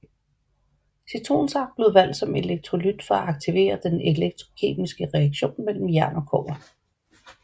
Citronsaft blev valgt som elektrolyt for at aktivere den elektrokemiske reaktion mellem jern og kobber